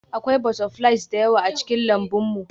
Akwai butterflies da yawa a cikin lambun mu